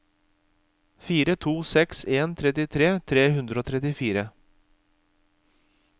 fire to seks en trettitre tre hundre og trettifire